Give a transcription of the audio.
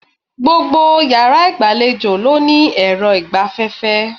Gbogbo yàrá ìgbàlejò ló ní èrọ ìgbaféfé